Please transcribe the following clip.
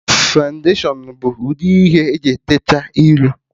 Fọụndashion bụ udi ihe eji teecha iru